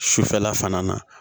Sufɛla fana na